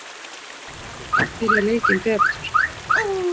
Valur hefur byrjað leikinn betur